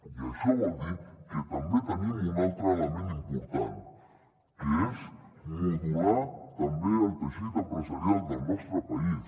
i això vol dir que també hi tenim un altre element important que és modular també el teixit empresarial del nostre país